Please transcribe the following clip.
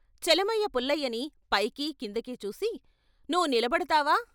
చలమయ్య పుల్లయ్యని పైకి, కిందకీ చూసి ' నువ్వు నిలబడతావా?